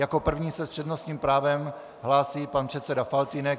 Jako první se s přednostním právem hlásí pan předseda Faltýnek.